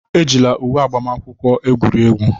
Ejila uwe agbamakwụkwọ egwuri egwu!